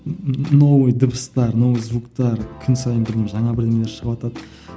новый дыбыстар новый звуктар күн сайын жаңа бірдемелер шығыватады